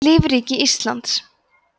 lífríki íslands